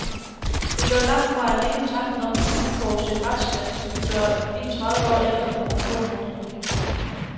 Det er dog langt fra alene tanken om en uforudset restskat, som kan gøre en tredive år ældre på nogle få måneder.